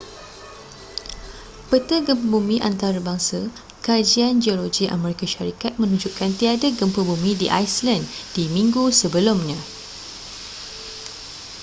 peta gempa bumi antarbangsa kajian geologi amerika syarikat menunjukkan tiada gempa bumi di iceland di minggu sebelumnya